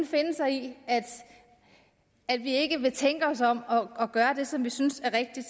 finde sig i at vi ikke vil tænke os om og gøre det som vi synes er rigtigt